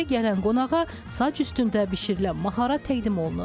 Evə gələn qonağa saç üstündə bişirilən maxara təqdim olunur.